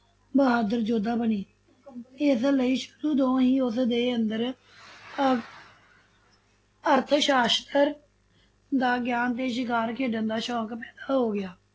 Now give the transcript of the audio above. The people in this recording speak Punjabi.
ਬਹਾਦਰ ਯੋਧਾ ਬਣੇ ਇਸ ਲਈ ਸ਼ੁਰੂ ਤੋ ਹੀ ਉਸ ਦੇ ਅੰਦਰ ਅ~ ਅਰਥ ਸਾਸ਼ਤਰ ਦਾ ਗਿਆਨ ਤੇ ਸ਼ਿਕਾਰ ਖੇਡਣ ਦਾ ਸ਼ੋਕ ਪੈਦਾ ਹੋ ਗਿਆ।